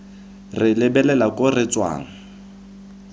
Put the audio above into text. re lebelela ko re tswang